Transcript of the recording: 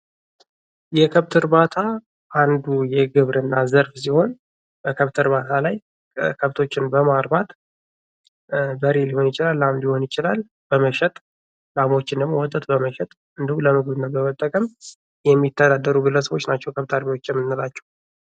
የከብት እርባታ አንዱ የግብርና ዘርፍ ሲሆንበከብት እርባታ ላይ ከብቶችን በማርባት በሬ ሊሆን ይችላል ላም ሊሆን ይችላል በመሸጥ ላሞችንም ወተት በመሸጥ እንዲሁም ለምግብነት በመጠቀም የሚተዳደሩ ግለሰቦች ናቸው ከብት አርቢዎች።